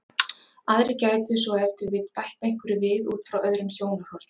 Aðrir gætu svo ef til vill bætt einhverju við út frá öðrum sjónarhornum.